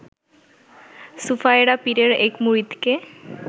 সুফায়রা পীরের এক মুরিদকে